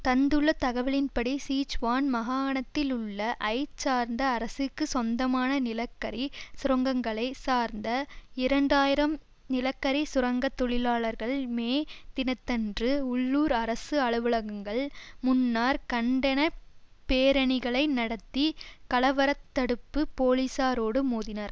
தந்துள்ள தகவலின்படி சிச்சுவான் மகாணத்திலுள்ள ஐ சார்ந்த அரசிற்கு சொந்தமான நிலக்கரி சுரங்கங்களை சார்ந்த இரண்டு ஆயிரம் நிலக்கரி சுரங்க தொழிலாளர்கள் மே தினத்தன்று உள்ளூர் அரசு அலுவலகங்கள் முன்னர் கண்டன பேரணிகளை நடத்தி கலவர தடுப்பு போலீஸாரோடு மோதினர்